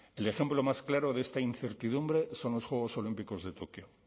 el ejemplo más claro de esta incertidumbre son los juegos olímpicos de tokio